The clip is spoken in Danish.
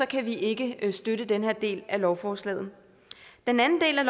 kan vi ikke støtte den her del af lovforslaget den anden del af